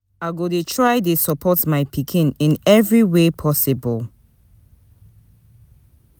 I go dey try dey support my pikin in every way possible.